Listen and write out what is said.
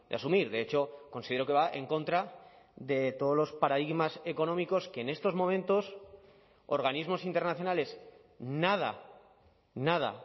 asumir de hecho considero que va en contra de todos los paradigmas económicos que en estos momentos organismos internacionales nada nada